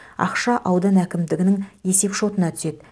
ақша аудан әкімдігінің есепшотына түседі